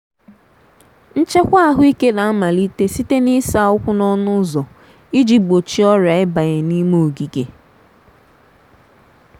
nchekwa ahụike na-amalite site na ịsa ụkwụ n’ọnụ ụzọ iji gbochie ọrịa ịbanye n’ime ogige.